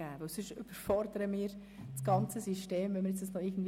Wenn wir alles hineinpacken würden, würden wir das gesamte System überfordern.